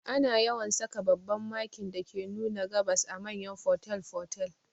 Ana yawan saka babban Makin dake nuna gabas a manyan fotel fotel